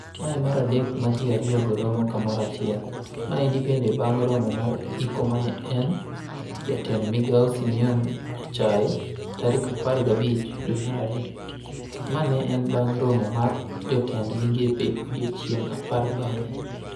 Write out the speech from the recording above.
Mae e maradek ma ji ariogo romo kamoro achiel. Maendi bende bang romo mar iko mane en jatend migao Simeon Nyachae tarik apar gabich dwe mar ario. Ma ne en bang' romo mar jotend migepe odiochienge apar bang'e.